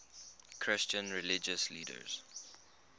christian religious leaders